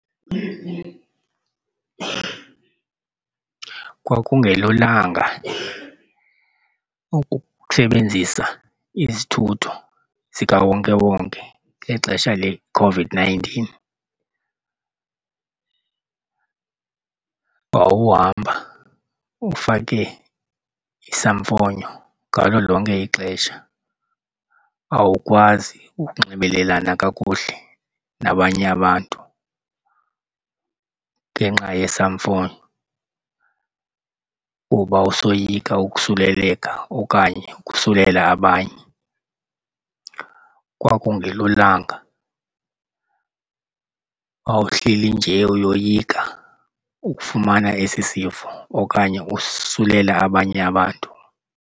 Kwangelulanga ukusebenzisa izithutho zikawonkewonke ngexesha leCOVID-nineteen. Wawuhamba ufake isamfonyo ngalo lonke ixesha, awukwazi ukunxibelelana kakuhle nabanye abantu ngenxa yesamfonyo kuba usoyika usuleleka okanye ukusulela abanye. Kwakungelulanga, wawuhleli nje uyoyika ukufumana esi sifo okanye usisulela abanye abantu.